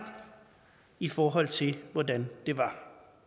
i forhold til hvordan det var